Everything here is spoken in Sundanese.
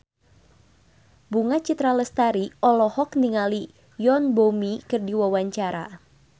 Bunga Citra Lestari olohok ningali Yoon Bomi keur diwawancara